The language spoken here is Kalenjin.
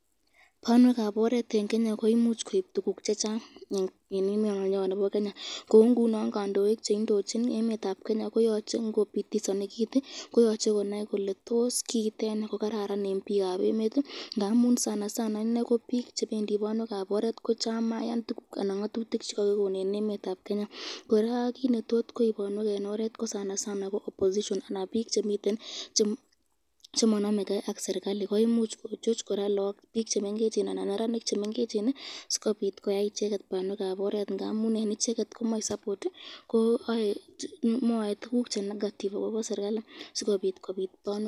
Banwekab oret eng Kenya koimuch koib tukuk chechang, kou ngunon kandoik cheindochin emet koyacheee ngopitisani kit koyache konai kole tos kiiteni ko kararan eng pikab emet ngamun bik chebendi banwekab oret ko chamayan tukukaban ngatutik chkakikon eng emetab Kenya koraa kit netot koich banwekab oret ko bik chemananeken ak serikalit koimuch kochoch lagok ana neranik chemengecheni sikobit koyai icheket banwekab oret.